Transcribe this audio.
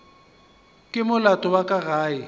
ke molato wa ka ge